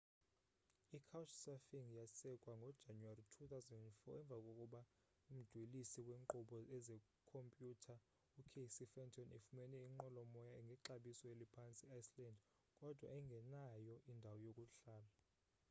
icouchsurfing yasekwa ngojanuwari 2004 emva kokuba umdwelisi weenkqubo zekhompyutha ucasey fenton efumene inqwelomoya ngexabiso eliphantsi eiceland kodwa engenayo indawo yokuhlala